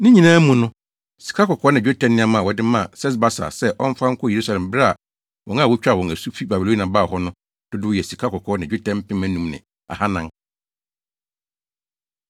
Ne nyinaa mu no, sikakɔkɔɔ ne dwetɛ nneɛma a wɔde maa Sesbasar sɛ ɔmfa nkɔ Yerusalem bere a wɔn a wotwaa wɔn asu fi Babilonia baa hɔ no dodow yɛ sikakɔkɔɔ ne dwetɛ mpem anum ne ahannan (5,400).